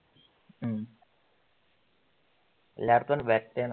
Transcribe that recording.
ഉം